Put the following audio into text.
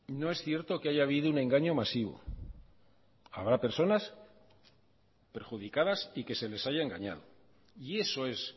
no es cierto que haya habido un engaño masivo habrá personas perjudicadas y que se les haya engañado y eso es